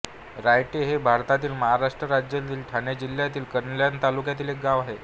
रायटे हे भारतातील महाराष्ट्र राज्यातील ठाणे जिल्ह्यातील कल्याण तालुक्यातील एक गाव आहे